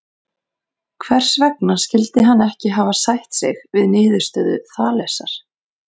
Hvers vegna skyldi hann ekki hafa sætt sig við niðurstöðu Þalesar?